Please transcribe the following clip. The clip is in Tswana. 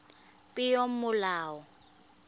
peomolao